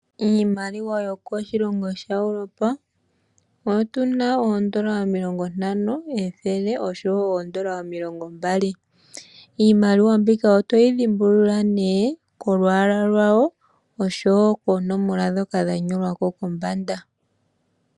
Iimaliwa yokoshilongo Europa, otu na oondola omilongo ntano, ethele oshowo omilongo mbali. Iimaliwa mbika otoyi dhimbulula kolwala lwayo oshowo oonomola dhoka dha nyolwa ko kombanda.